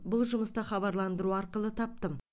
бұл жұмысты хабарландыру арқылы таптым